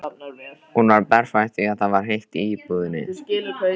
Hún var berfætt því það var heitt í íbúðinni.